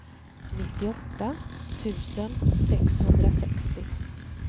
nittioåtta tusen sexhundrasextio